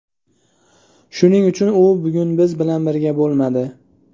Shuning uchun u bugun biz bilan birga bo‘lmadi.